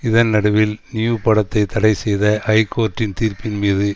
இதன் நடுவில் நியூ படத்தை தடை செய்த ஐகோர்ட்டின் தீர்ப்பின் மீது